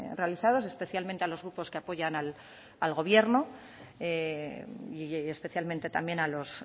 realizados especialmente a los grupos que apoyan al gobierno y especialmente también a los